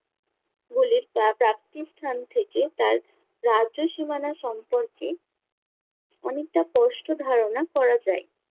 গুলির প্রা~ প্রাপ্তি স্থান থেকে তার রাজ্য সীমানা সম্পর্কে অনেকটা পষ্ট ধারণা করা যায়।